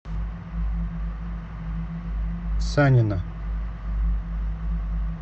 санина